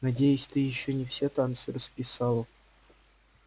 надеюсь ты ещё не все танцы расписала